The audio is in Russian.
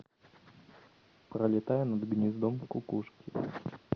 пролетая над гнездом кукушки